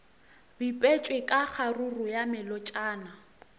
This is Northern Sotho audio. bipetšwe ka kgaruru ya melotšana